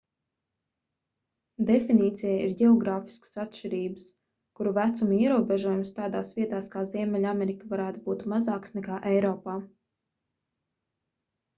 definīcijai ir ģeogrāfiskas atšķirības kur vecuma ierobežojums tādās vietās kā ziemeļamerika varētu būt mazāks nekā eiropā